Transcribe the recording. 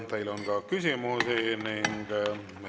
Teile on ka küsimusi.